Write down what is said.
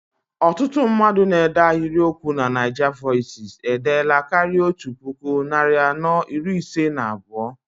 Ọtụtụ mmadụ na-ede ahiriokwu na NaijaVoices edeela karịa otú puku, narị anọ iri ise na abụọ.